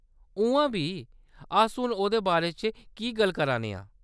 उʼआं बी, अस हून ओह्‌‌‌दे बारे च की गल्ल करा ने आं ?